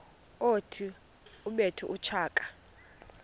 othi ubethe utshaka